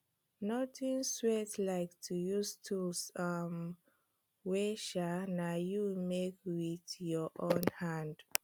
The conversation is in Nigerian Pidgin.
nothing sweat like to use tools um wey um na you make wit yur own hand